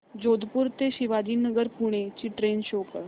जोधपुर ते शिवाजीनगर पुणे ची train show कर